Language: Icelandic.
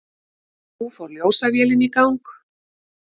Nú fór ljósavélin í gang.